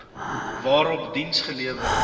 waarop diens gelewer